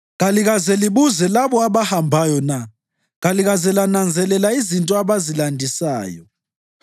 Kalikaze libuze labo abahambayo na? Kalize lananzelela izinto abazilandisayo,